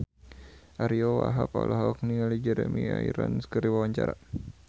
Ariyo Wahab olohok ningali Jeremy Irons keur diwawancara